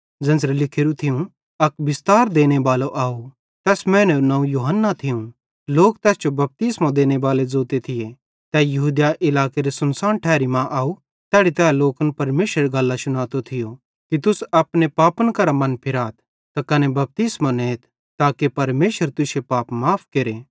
ज़ेन्च़रां लिखोरू थियूं अक बिस्तार देनेबालो आव तैस मैनेरू नवं यूहन्ना थियूं लोक तैस जो बपतिस्मो देनेबालो भी ज़ोते थिये तै यहूदिया इलाकेरे सुनसान ठैरी मां आव तैड़ी तै लोकन परमेशरेरी गल्लां शुनातो थियो कि तुस अपने पापन करां मनफिराथ त कने बपतिस्मो नेथ ताके परमेशर तुश्शे पाप माफ़ केरे